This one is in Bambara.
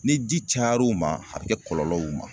Ni ji cayar'u ma a bɛ kɛ kɔlɔlɔ y'u ma.